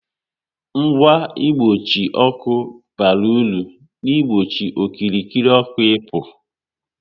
Ngwa mkpuchi ọkụ bara ulu n'igbochi okirikiri ọkụ ị pu